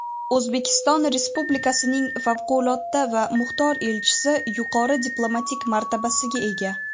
O‘zbekiston Respublikasining Favqulodda va muxtor elchisi yuqori diplomatik martabasiga ega.